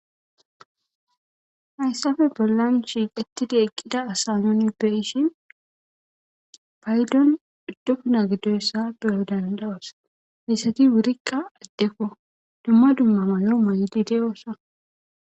Hayssafe bollan shiiq ettida eqqida asa nuni be ishin paydon duddopuna giddoyssa beyodandawasa heyssati wurikka addekko dumma dumma mayo maydi de'oossa.